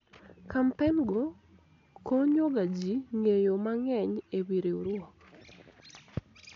kampen go konyo ga jii ng'eyo mang'eny ewi riwruok